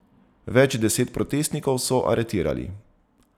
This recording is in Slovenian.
Več deset protestnikov so aretirali.